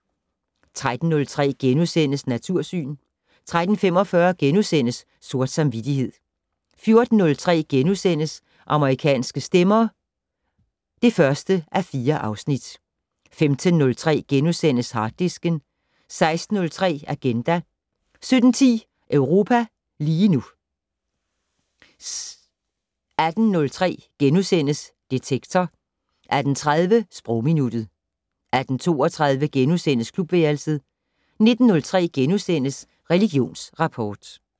13:03: Natursyn * 13:45: Sort samvittighed * 14:03: Amerikanske stemmer (1:4)* 15:03: Harddisken * 16:03: Agenda 17:10: Europa lige nu 18:03: Detektor * 18:30: Sprogminuttet 18:32: Klubværelset * 19:03: Religionsrapport *